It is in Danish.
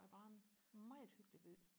er bare en meget hyggelig by